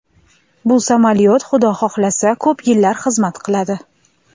Bu samolyot Xudo xohlasa ko‘p yillar xizmat qiladi.